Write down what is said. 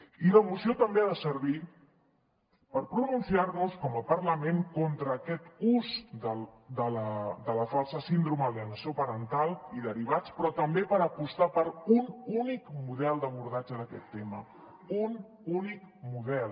i la moció també ha de servir per pronunciar nos com a parlament contra aquest ús de la falsa síndrome d’alienació parental i derivats però també per apostar per un únic model d’abordatge d’aquest tema un únic model